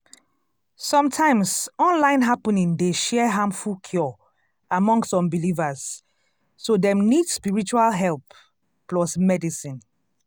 sometimes online happening dey share harmful cure among some believers so dem nid spiritual help plus medicine.